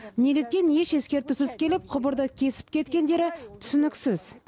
неліктен еш ескертусіз келіп құбырды кесіп кеткендері түсініксіз